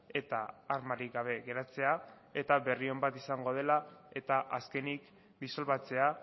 eta armarik gabe geratzea eta berri on bat izango dela eta azkenik disolbatzea